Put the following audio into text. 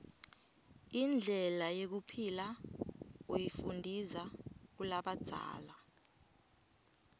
indlela yekuphila uyifundiza kulabadzala